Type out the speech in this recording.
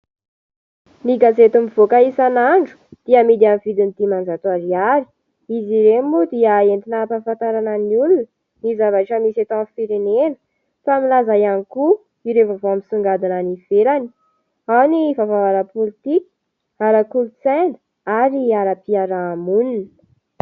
Ny gazety mivoaka isanandro dia amidy amin' ny vidiny dimanjato ariary. Izy ireo moa dia entina hampahafantarana ny olona ny zavatra misy eto amin' ny firenena. Toa milaza ihany koa ireo vaovao misongadina any ivelany, ao ny vaovao ara- politika, ara- kolotsaina, ary ara- piarahamonina.